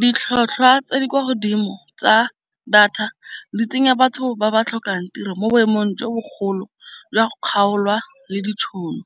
Ditlhotlhwa tse di kwa godimo tsa data di tsenya batho ba ba tlhokang tiro mo boemong jo bogolo jwa kgaolwa le ditšhono.